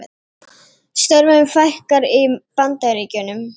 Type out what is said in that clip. Störfum fækkar í Bandaríkjunum